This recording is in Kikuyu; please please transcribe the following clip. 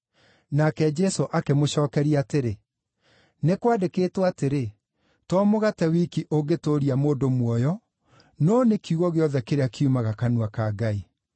Nake Jesũ akĩmũcookeria atĩrĩ, “Nĩ kwandĩkĩtwo atĩrĩ: ‘To mũgate wiki ũngĩtũũria mũndũ muoyo, no nĩ kiugo gĩothe kĩrĩa kiumaga kanua ka Ngai.’ ”